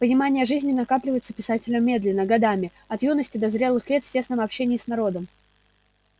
понимание жизни накапливается писателем медленно годами от юности до зрелых лет в тесном общении с народом